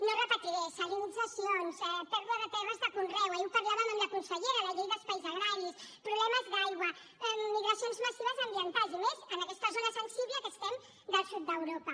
no ho repetiré salinitzacions pèrdua de terres de conreu ahir ho parlàvem amb la consellera la llei d’espais agraris problemes d’aigua migracions massives ambientals i més en aquesta zona sensible que estem del sud d’europa